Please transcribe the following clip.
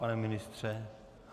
Pane ministře?